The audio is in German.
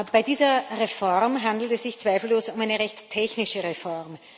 Bei dieser Reform handelt es sich zweifellos um eine recht technische Reform.